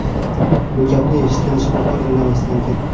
Bu gapni eshitgan shifokor indamasdan ketdi.